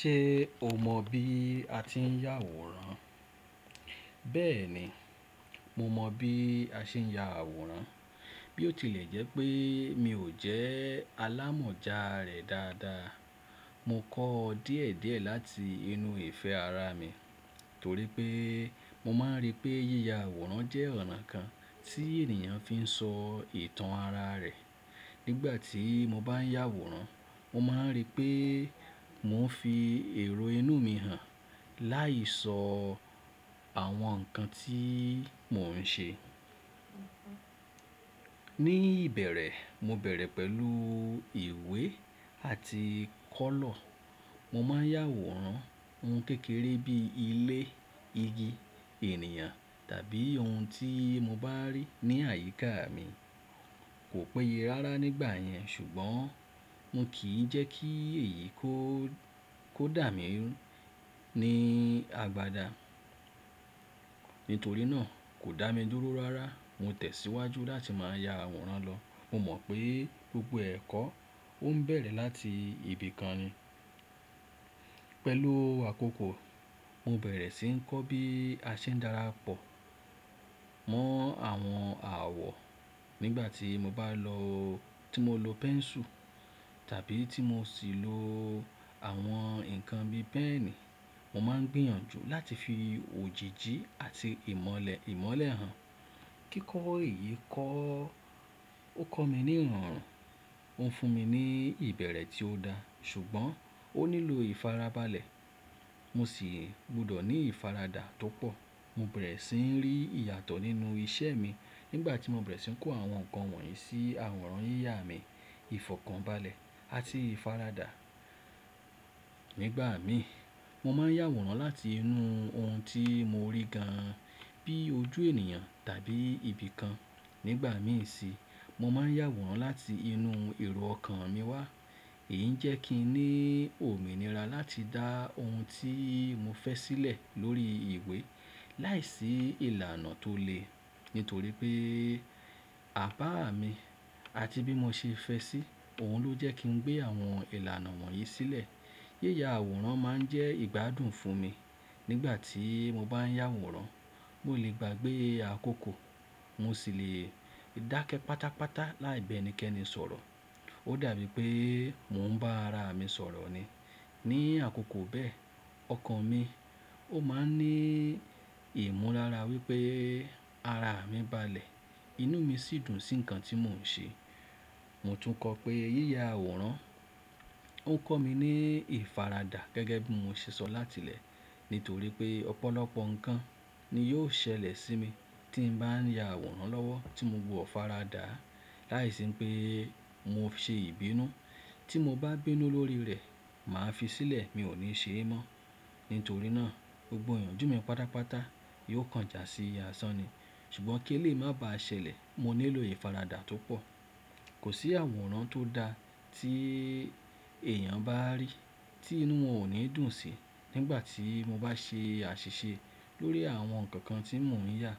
Ṣe o mọ bí a ti ń ya àwòrán? Bẹẹni, mo mọ bi a ṣe ń ya àwòrán, bí ó tilẹ̀ jẹ́ pé mi ò jẹ́ alámọ̀já rẹ dáadáa. Mo kọ ọ́ díẹ̀ díẹ̀ láti inú ìfẹ́ ara mi, torí pé mo máa ń rí pé yíya àwòrán jẹ́ ọ̀nà kan tí ènìyàn fi ń sọ ìtàn ara rẹ̀. Nígbà tí mo bá ń yà àwòrán, mo máa ń rí pé mò ń fi èrò inú mi hàn láì sọ àwọn nǹkan tí mò ń ṣe. Ní ìbẹ̀rẹ̀, mo bẹ̀rẹ̀ pẹ̀lú ìwé àti kọ́lọ̀. Mo máa ń yà àwòrán ohun kékeré bí ilé, igi, ènìyàn tàbí ohun tí mo bá rí ní àyíká mi. Kò péye rárá nígbà yẹn, ṣùgbọ́n mi kì í jẹ́ kí èyí kó, kó dà mi ní abádá. Nítorí náà kò dá mi dúró rárá, mo tẹ̀ síwájú láti máa ya àwòrán lọ. Mo mọ̀ pé gbogbo ẹ̀kọ́ ló ń bẹ̀rẹ̀ láti ibi kan ni. Pẹ̀lú àkókò, mo bẹ̀rẹ̀ sí ń kọ́ bí a ṣe ń darapọ̀ mọ́ àwọn àwọ̀. Nígbà tí mo bá lo-- tí mo lo pẹ́nsù tàbí tí mo sì lo àwọn nǹkan bí pẹ́ẹ̀ní, mo máa ń gbìyànjú láti fi òjìji àti ìmọ́lẹ̀, ìmọ́lẹ̀ hàn. Kíkọ́ èyí kọ́, ó kọ́ mi ní ìrọ̀rùn, ó ń fún mi ní ìbẹ̀rẹ̀ tí ó dáa, ṣùgbọ́n ó nílò ìfarabalẹ̀. Mo sì gbọdọ̀ ní ìfaradà tó pọ̀. Mo bẹ̀rẹ̀ sí ń rí ìyàtọ̀ nínú iṣẹ́ mi nígbà tí mo bẹ̀rẹ̀ sí ń kó àwọn nǹkan wọ̀nyí sí àwòrán yíya mi, ìfọ̀kànbalẹ̀ àti ìfaradà. Nígbà míì, mo máa ń yà wòrán láti inú ohun tí mo rí gan an, bí ojú ènìyàn tàbí ibi kan. Nígbà míì sì nii, mo máa ń yà wòrán láti inú èrò ọkàn mi wá. Èyí ń jẹ́ kí n ní òmìnira láti dá ohun tí mo fẹ́ sílẹ̀ lórí ìwé láìsí ìlànà tó le, nítorí pé aba mi àti bí mo ṣe fẹ́ sí i, òun ló jẹ́ kí n gbé àwọn ìlànà wọ̀nyí sílẹ̀. Yíya àwòrán máa ń jẹ́ ìgbádùn fún mi. Nígbà tí mo bá ń yà àwòrán, mo lè gbà pé àkókò, mo sì le dákẹ́ pátápátá láì bẹ́ẹ̀ ní kẹ́ni sọ̀rọ̀. Ó dàbí pé mò ń bá ara mi sọ̀rọ̀ ni. Ní àkókò bẹ́ẹ̀, ọkàn mi ó máa ń ní ìmọ̀lára wí pé ara mi balẹ̀, inú mi sì dùn sí ǹkan tí mò ń ṣe. Mo tún kọ pé yíya àwòrán ó ń kọ́ mi ní ìfaradà gẹ́gẹ́ bí mo ṣe sọ láti le, nítorí pé ọ̀pọ̀lọpọ̀ nǹkan ni yóò ṣẹlẹ̀ sí mi tí mo bá ń ya àwòrán lọ́wọ́ tí mo wọ̀ faradà láìsí pé mo ṣe ìbínú. Tí mo bá bínú lórí rẹ̀, màá fi sílẹ̀, mi ò ní ṣe é mọ́. Nítorí náà, gbogbo ìyànjú mi pátápátá yóò kàn jà sí àsán ni. Ṣùgbọ́n kí lè má ba ṣẹlẹ̀, mo nílò ìfaradà tó pọ̀. Kò sí àwòrán tó dáa tí èèyàn bá rí tí inú wọn ò ní dùn sí. Nígbà tí mo bá ṣe àṣìṣe lórí àwọn nǹkan kan tí mò ń yà,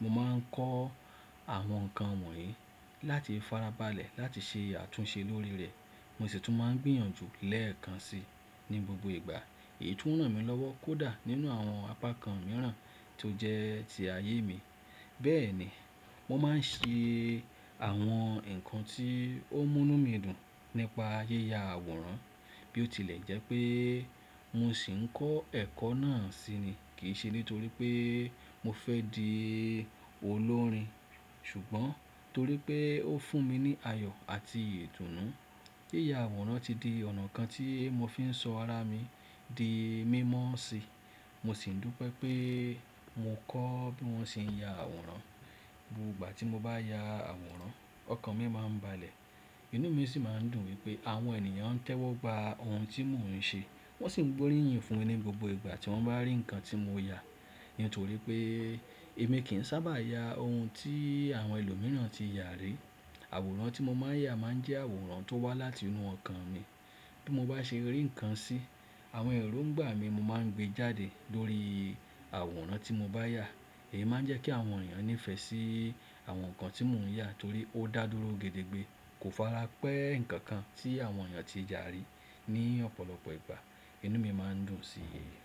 mo máa ń kọ́ àwọn nǹkan wọ̀nyí láti farabalẹ̀ láti ṣe àtúnṣe lórí rẹ̀. Mo sì tún máa ń gbìyànjú lẹ́ẹ̀kan si ní gbogbo ìgbà. Èyí tún ràn mí lọ́wọ́ kó dà nínú àwọn apá kan mìíràn tó jẹ́ ti ayé mi. Bẹ́ẹ̀ ni, mo máa ń ṣe àwọn nǹkan tí ó mú inú mi dùn nípa yíya àwòrán. Bí ó tilẹ̀ jẹ́ pé mo sì ń kọ́ ẹ̀kọ́ náà sí ni, kì í ṣe nítorí pé mo fẹ́ di olórin, ṣùgbọ́n torí pé ó fún mi ní ayọ̀ àti ìdùnnú. Yíya àwòrán ti di ọ̀nà kan tí mo fi ń sọ ara mi di mímọ́ sí. Mo sì ń dún pé pé mo kọ́ bí wọ́n ṣe ń ya àwòrán. Gbogbo ìgbà tí mo bá ya àwòrán, ọkàn mi máa ń balẹ̀, inú mi sì máa ń dùn wí pé àwọn ènìyàn ń tẹ́wọ́ gba ohun tí mò ń ṣe, wón sì ń gbóríyìn fún ni gbogbo ìgbà tí wọ́n bá rí ǹkan tí mo yà. Nítorí pé èmi kì í sábà ya ohun tí àwọn ẹlòmíràn ti yà rí. Àwòrán tí mo máa ń yà máa ń jẹ́ àwòrán tó wá láti inú ọkàn mi. Bí mo bá ṣe rí ǹkan sí, àwọn erongba mí mo máa ń gbé jáde lórí àwòrán tí mo bá yà. Èyí máa ń jẹ́ kí àwọn ènìyàn nífẹ̀ẹ́ sí àwọn nǹkan tí mò ń yà torí ó dà dúró gedegbe, kò fara pẹ́ ǹkan kan tí àwọn ènìyàn ti yà rí ní ọ̀pọ̀lọpọ̀ ìgbà. Inú mi máa ń dùn sí èyí.